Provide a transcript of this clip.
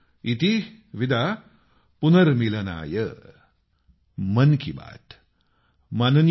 इति विदा पुनर्मिलनाय